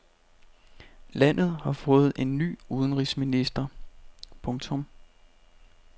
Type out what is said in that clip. Landet har fået ny udenrigsminister. punktum